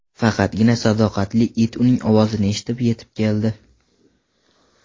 Faqatgina sadoqatli it uning ovozini eshitib, yetib keldi.